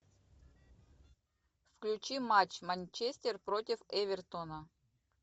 включи матч манчестер против эвертона